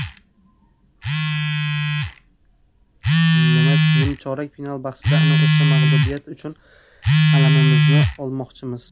Nimchorak final bahsida ana o‘sha mag‘lubiyat uchun alamimizni olmoqchimiz.